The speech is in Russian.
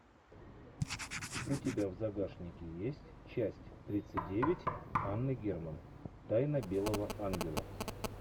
у тебя в загашнике есть часть тридцать девять анны герман тайна белого ангела